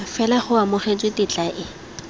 fela go amogetswe tetla e